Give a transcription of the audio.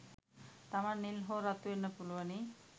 තමන් නිල් හෝ රතු වෙන්න පුළුවනි